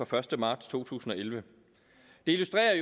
første marts to tusind og elleve det illustrerer